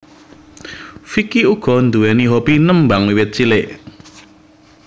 Vicky uga nduwèni hobi nembang wiwit cilik